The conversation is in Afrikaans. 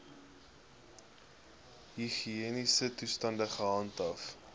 higiëniese toestande gehandhaaf